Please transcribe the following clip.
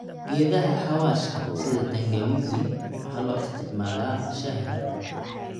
Geedaha xawaashka sida tangawizi waxaa loo isticmaalaa shaaha.